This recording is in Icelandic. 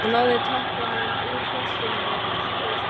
Hún náði tappanum úr flöskunni og allt gaus upp.